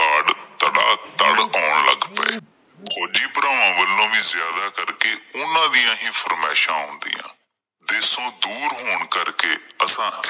ਆਉਣ ਲੱਗ ਪਏ। ਫੌਜੀ ਭਰਾਵਾਂ ਵੱਲੋਂ ਵੀ ਜ਼ਿਆਦਾ ਕਰਕੇ ਉਹਨਾਂ ਦੀਆਂ ਹੀ ਫ਼ਰਮਾਇਸ਼ਾਂ ਆਉਂਦਿਆ ਦੇਸ਼ਓ ਦੂਰ ਹੋਣ ਕਰਕੇ ਅਸਾਂ।